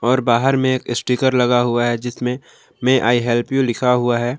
और बाहर में एक स्टीकर लगा हुआ है जिसमें मे आई हेल्प यू लिखा हुआ है।